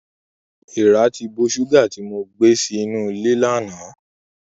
Èràn ti bo ṣùgà tí mo gbé sí inú ilé lánàá.